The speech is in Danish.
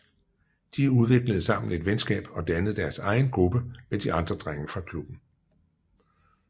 De udviklede sammen et venskab og dannede deres egen gruppe med de andre drenge fra klubben